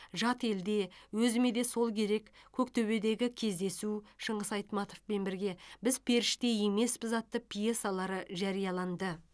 жат елде өзіме де сол керек көктөбедегі кездесу шыңғыс айтматовпен бірге біз періште емеспіз атты пьесалары жарияланды